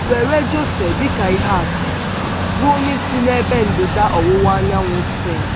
Were José dị ka ihe atu, bụ́ onye si n’ebe ndịda ọwụwa anyanwụ Spen.